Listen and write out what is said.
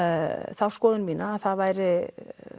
þá skoðun mína að það væri